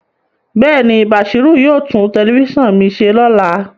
Bẹẹni, Bashiru yoo tun telifisan mi se lola